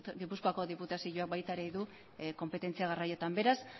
gipuzkoako diputazioak baita ere du konpetentzia garraioetan beraz